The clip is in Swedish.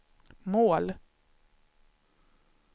mål